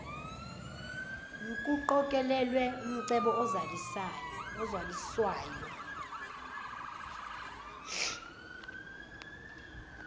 nkuqokelelwe umcebo ozaliswayo